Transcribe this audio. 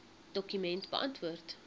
dokument beantwoord